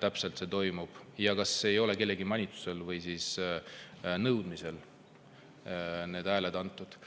täpselt see toimub ja kas ei ole kellegi manitsuse või nõudmise peale need hääled antud.